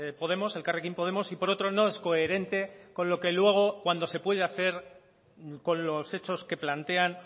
podemos elkarrekin podemos y por otro no es coherente con lo que luego cuando se puede hacer con los hechos que plantean